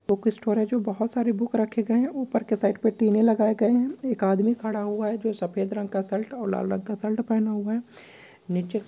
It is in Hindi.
बूक स्टोर है जो बहुत सारे बूक रखे गए उपर के साइड पे पीने लगाए गए है एक आदमी खड़ा हुआ है जो सफ़ेद रंग का शर्ट और लाल रंग का शर्ट पेहना हुआ है नीचे एक--